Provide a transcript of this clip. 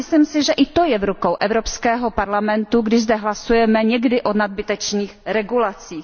Ale myslím si, že i to je v rukou Evropského parlamentu, když zde hlasujeme někdy o nadbytečných regulacích.